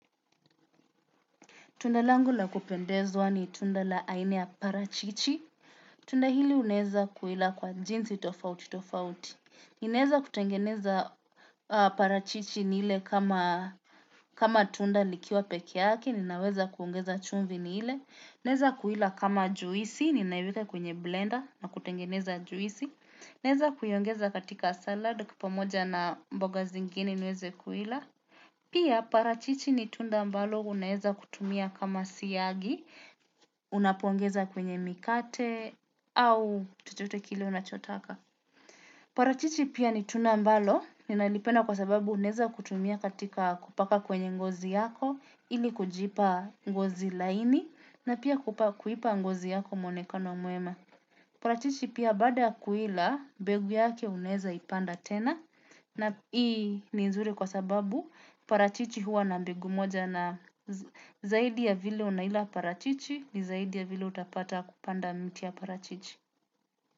Tunda langu la kupendezwa ni tunda la aina ya parachichi. Tunda hili uneza kuila kwa jinsi tofauti tofauti. Ninaeza kutengeneza parachichi nile kama tunda likiwa peke yake, ninaweza kuongeza chumvi nile. Ninaeza kuila kama juisi, ninaiweka kwenye blender na kutengeneza juisi. Ninaeza kuiongeza katika salad pamoja na mboga zingini niweze kuila. Pia parachichi nitunda ambalo uneza kutumia kama siyagi, unapongeza kwenye mikate, au chochote kile unachotaka. Parachichi pia nitunda ambalo ninalipenda kwa sababu naeza kutumia katika kupaka kwenye ngozi yako ili kujipa ngozi laini na pia kuipa ngozi yako mwonekano mwema. Parachichi pia baada ysa kuila mbegu yake uneza ipanda tena na hii ni nzuri kwa sababu parachichi huwa na mbegu moja na zaidi ya vile unaila parachichi ni zaidi ya vile utapata kupanda mti ya parachichi.